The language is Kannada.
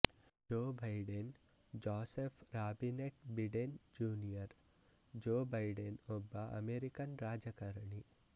ಜೋ Biden Joseph Robinette Biden junior Joe Biden ಒಬ್ಬ ಅಮೇರಿಕನ್ ರಾಜಕಾರಣಿ